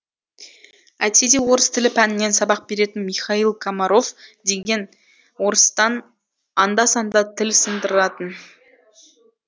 әйтсе де орыс тілі пәнінен сабақ беретін михаил комаров деген орыстан анда санда тіл сындыратын